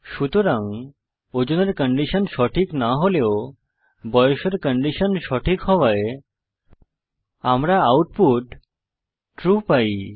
সুতরাং ওজনের কন্ডিশন সঠিক না হলেও বয়সের কন্ডিশন সঠিক হওয়ায় আমরা আউটপুট ট্রু পাই